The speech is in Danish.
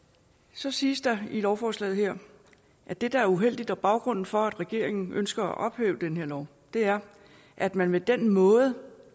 så siges der i lovforslaget her at det der er uheldigt og baggrunden for at regeringen ønsker at ophæve den her lov er at man med den måde